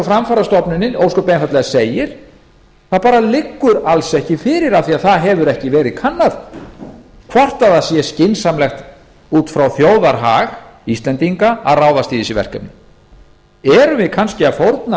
framfarastofnunin ósköp einfaldlega segir það bara liggur alls ekki fyrir af því það hefur ekki verið kannað hvort það sé skynsamlegt út frá þjóðarhag íslendinga að ráðast í þessi verkefni erum við kannski að fórna